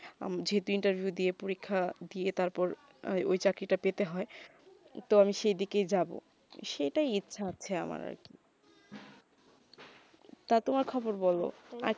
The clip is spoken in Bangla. আমি যে interview তা দিয়ে পরীক্ষা দিয়ে তার পর ঐই চাকরি তা পেতে হয়ে তো আমি সেই দিকে যাবো সেইটা ইচ্ছা আছে আমার আর কি টা তোমার খবর বোলো